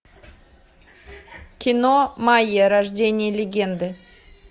кино майя рождение легенды